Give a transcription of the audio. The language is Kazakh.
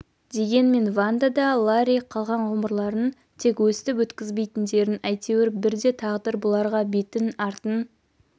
дегенмен ванда да ларри қалған ғұмырларын тек өстіп өткізбейтіндерін әйтуір бірде тағдыр бұларға бетін артын